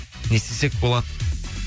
не істесек болады